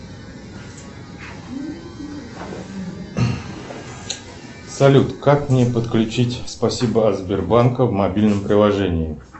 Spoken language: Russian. салют как мне подключить спасибо от сбербанка в мобильном приложении